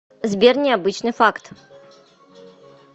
сбер необычный факт